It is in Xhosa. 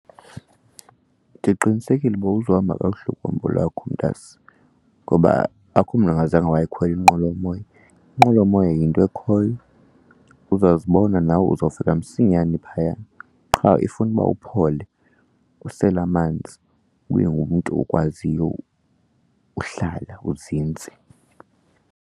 Ndiqinisekile uba uzohamba kakuhle uhambo lwakho mntase ngoba akukho mntu angazange wayikhwela inqwelomoya, inqwelomoya yinto ekhoyo. Uzazibona nawe uzawufika msinyane phayana qha ifuna uba uphole usele amanzi, ube ngumntu okwaziyo uhlala uzinzise.